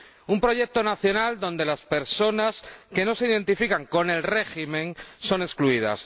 Un proyecto nacional donde las personas que no se identifican con el régimen son excluidas